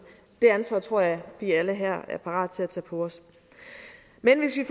det ansvar tror jeg at vi alle her er parat til at tage på os men hvis vi